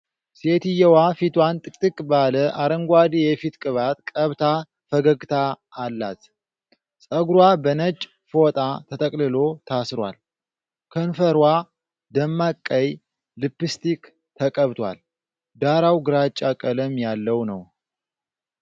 ሴትዮዋ ፊቷን ጥቅጥቅ ባለ አረንጓዴ የፊት ቅባት ቀብታ ፈገግታ አላት። ፀጉሯ በነጭ ፎጣ ተጠቅልሎ ታስሯል፤ ከንፈሯ ደማቅ ቀይ ሊፕስቲክ ተቀብቷል። ዳራው ግራጫ ቀለም ያለው ነው።